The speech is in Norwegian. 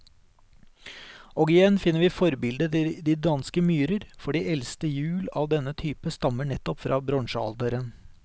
Og igjen finner vi forbildet i de danske myrer, for de eldste hjul av denne type stammer nettopp fra bronsealderen.